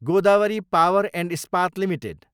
Godavari power and Ispat limited